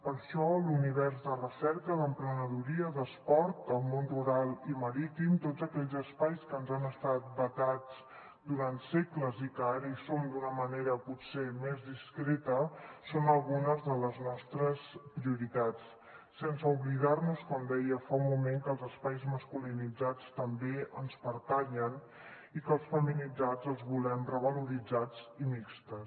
per això l’univers de recerca d’emprenedoria d’esport el món rural i marítim tots aquells espais que ens han estat vetats durant segles i que ara hi som d’una manera potser més discreta són algunes de les nostres prioritats sense oblidar nos com deia fa un moment que els espais masculinitzats també ens pertanyen i que els feminitzats els volem revaloritzats i mixtos